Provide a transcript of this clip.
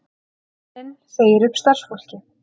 Penninn segir upp starfsfólki